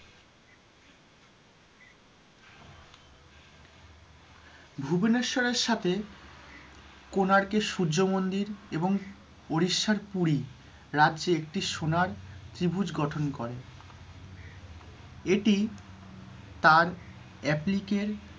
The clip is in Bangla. ভুবনেশ্বরের সাথে কোণার্ক এর সূর্যমন্দির এবং উড়িষ্যার পুরী রাজ্যে একটি সোনার ত্রিভুজ গঠন করে, এটি তার applic,